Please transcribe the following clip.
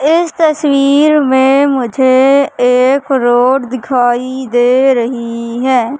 इस तस्वीर में मुझे एक रोड दिखाई दे रही हैं।